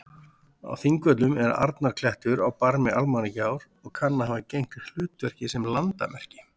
Á Þingvöllum er Arnarklettur á barmi Almannagjár og kann að hafa gegnt hlutverki sem landamerki.